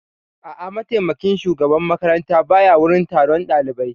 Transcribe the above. A'a, mataimakin shugaban makaranta ba ya wurin taron ɗalibai